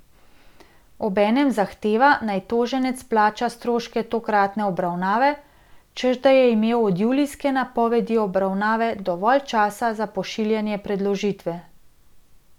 Obenem zahteva, naj toženec plača stroške tokratne obravnave, češ da je imel od julijske napovedi obravnave dovolj časa za pošiljanje predložitve.